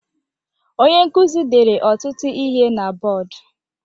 Onye nkuzi dere ọtụtụ ihe na bọdụ.